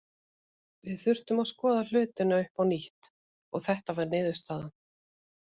Við þurftum að skoða hlutina upp á nýtt og þetta var niðurstaðan.